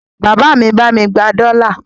Bàbá mi bá mi gba dọ́là.